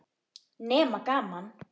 Nema gaman.